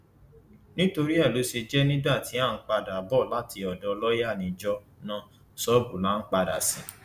nítorí ẹ ló ṣe jẹ nígbà tí à ń padà bọ láti odò lọọyà níjọ náà ṣọọbù la padà sí